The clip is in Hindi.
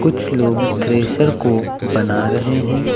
कुछ लोग थ्रेसर को बना रहे हैं।